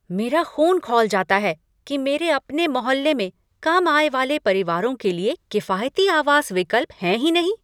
मेरा ख़ून खौल जाता है कि मेरे अपने मोहल्ले में कम आय वाले परिवारों के लिए किफ़ायती आवास विकल्प हैं ही नहीं।